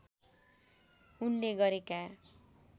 उनले गरेका